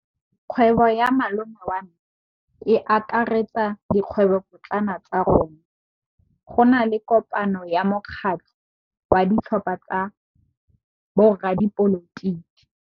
Kgwêbô ya malome wa me e akaretsa dikgwêbôpotlana tsa rona. Go na le kopanô ya mokgatlhô wa ditlhopha tsa boradipolotiki.